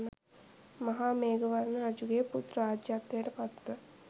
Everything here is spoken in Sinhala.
මහාමේඝවර්ණ රජුගේ පුත් රාජ්‍යත්වයට පත්ව